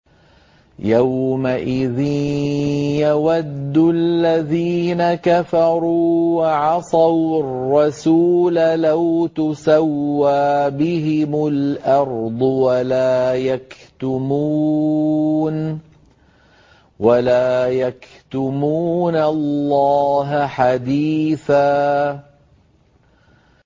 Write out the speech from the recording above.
يَوْمَئِذٍ يَوَدُّ الَّذِينَ كَفَرُوا وَعَصَوُا الرَّسُولَ لَوْ تُسَوَّىٰ بِهِمُ الْأَرْضُ وَلَا يَكْتُمُونَ اللَّهَ حَدِيثًا